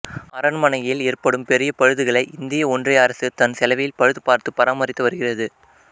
அரண்மனையில் ஏறபடும் பெரிய பழுதுகளை இந்திய ஒன்றிய அரசு தன் செலவில் பழுதுபார்த்து பராமரித்து வருகிறது